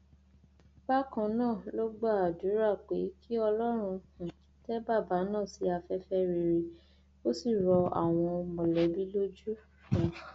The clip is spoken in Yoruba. bákan náà ló gba àdúrà pé kí ọlọrun um tẹ bàbà náà sí afẹfẹ rere kó sì rọ àwọn mọlẹbí lójú um